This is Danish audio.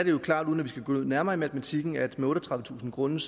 er klart uden at vi skal gå nærmere ind i matematikken at med otteogtredivetusind grunde